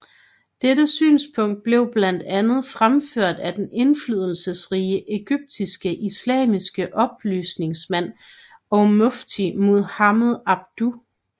Dette synspunkt blev blandt andet fremført af den indflydelsesrige egyptiske islamiske oplysningsmand og mufti Muhammad Abduh